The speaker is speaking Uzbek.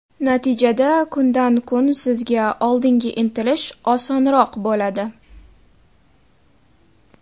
Natijada kundan-kun sizga oldinga intilish osonroq bo‘ladi.